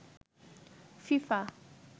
FIFA